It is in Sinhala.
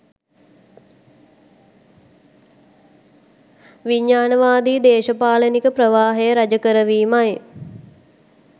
විඥාණවාදී දේශපාලනික ප්‍රවාහය රජ කරවීමයි